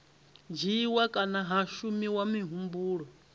dzhiiwa kana ha shumiswa muhumbulo